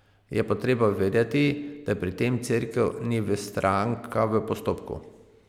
Je pa treba vedeti, da pri tem Cerkev ni stranka v postopku.